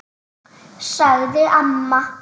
sagði amma.